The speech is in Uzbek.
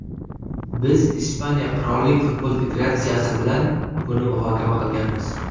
Biz Ispaniya Qirollik futbol federatsiyasi bilan buni muhokama qilganmiz.